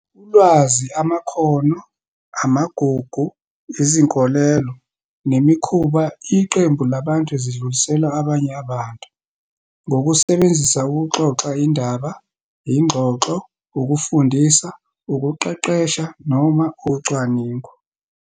Ulwazi, amakhono, amagugu, izinkolelo, nemikhuba iqembu labantu zidluliselwa abanye abantu, ngokusebenzisa ukuxoxa indaba, ingxoxo, ukufundisa, ukuqeqesha, noma ucwaningo.